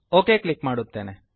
okay click ಮಾಡುತ್ತೇನೆ